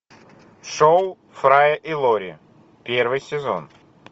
шоу фрая и лори первый сезон